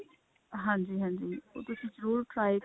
ਹਾਂਜੀ ਹਾਂਜੀ ਉਹ ਤੁਸੀ ਜਰੂਰ try